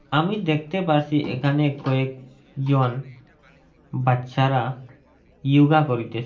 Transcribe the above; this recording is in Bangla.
আমি দেখতে পারসি এখানে কয়েক জন বাচ্চারা ইয়োগা করিতেসে।